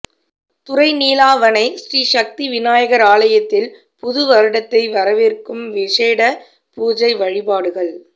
துறைநீலாவணை ஸ்ரீ சக்தி விநாயகர் ஆலயத்தில் புது வருடத்தை வரவேற்கும் விசேட பூசை வாழிபாடுகள்